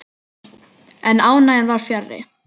En ánægjan var fjarri.